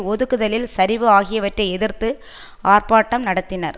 ஒதுக்குதலில் சரிவு ஆகியவற்றை எதிர்த்து ஆர்ப்பாட்டம் நடத்தினர்